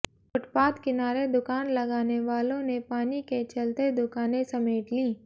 footpath किनारे दुकान लगाने वालों ने पानी के चलते दुकाने समेट ली